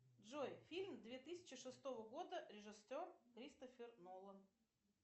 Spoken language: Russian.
джой фильм две тысячи шестого года режиссер кристофер нолан